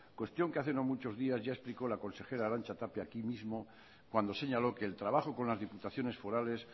cuestión que hace no muchos días ya explicó la consejera arantxa tapia aquí mismo cuando señaló que el trabajo con las diputaciones forales